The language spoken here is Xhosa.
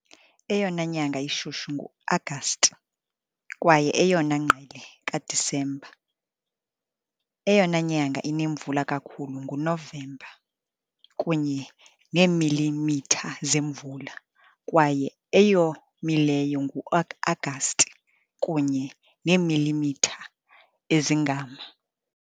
Eyona nyanga ishushu nguAgasti, kwaye eyona ngqele kaDisemba, Eyona nyanga inemvula kakhulu nguNovemba, kunye neemilimitha zemvula, kwaye eyomileyo nguAgasti, kunye neemilimitha ezingama .